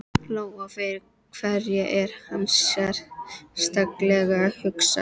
Lóa: Og fyrir hverja er hann sérstaklega hugsaður?